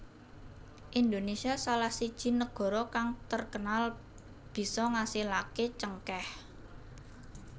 Indonesia salah siji nagara kang terkenal bisa ngasilaké cengkèh